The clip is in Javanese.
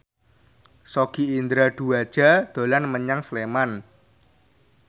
Sogi Indra Duaja dolan menyang Sleman